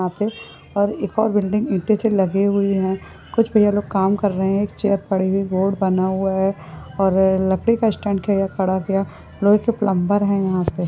यहां पे और एक और बिल्डिंग ईटें सी लगे हुए है कुछ भईया लोग काम कर रहे है एक चेयर पड़ी हुई है रोड बना हुआ है और आह् लकड़ी का स्टेंड अ खड़ा किया लोहे के प्लंबर है यहाँ पे--